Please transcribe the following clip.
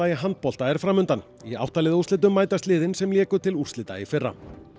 handbolta er fram undan í átta liða úrslitum mætast liðin sem léku til úrslita í fyrra